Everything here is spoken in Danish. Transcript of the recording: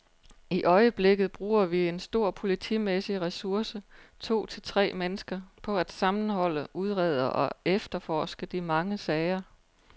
I øjeblikket bruger vi en stor politimæssig ressource, to til tre mennesker, på at sammenholde, udrede og efterforske de mange sager.